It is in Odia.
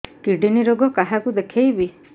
କିଡ଼ନୀ ରୋଗ କାହାକୁ ଦେଖେଇବି